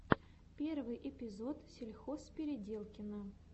первый эпизод сельхозпеределкина